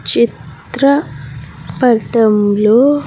చిత్ర పటంలో.